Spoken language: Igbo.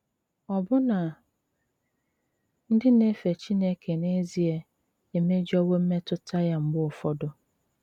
Ọ́bụ́ná ndí ná-éfè Chíńéké n’ezié éméjowo m̀metùta yá mgbè ụ́fọdụ́.